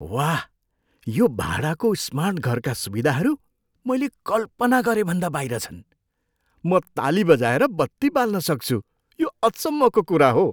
वाह, यो भाडाको स्मार्ट घरका सुविधाहरू मैले कल्पना गरेभन्दा बाहिर छन्। म ताली बजाएर बत्ती बाल्न सक्छु, यो अचम्मको कुरा हो!